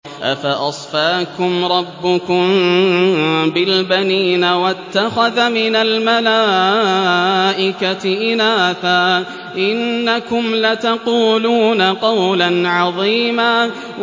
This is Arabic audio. أَفَأَصْفَاكُمْ رَبُّكُم بِالْبَنِينَ وَاتَّخَذَ مِنَ الْمَلَائِكَةِ إِنَاثًا ۚ إِنَّكُمْ لَتَقُولُونَ قَوْلًا عَظِيمًا